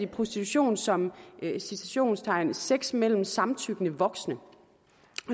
prostitution som sex mellem samtykkende voksne